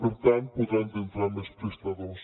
per tant hi podran entrar més prestadors